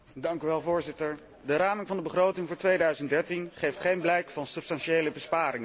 Voorzitter, de raming van de begroting voor 2013 geeft geen blijk van substantiële besparingen.